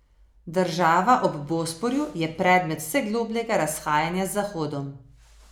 Država ob Bosporju je predmet vse globljega razhajanja z zahodom.